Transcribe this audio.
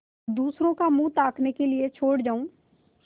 दूसरों का मुँह ताकने के लिए छोड़ जाऊँ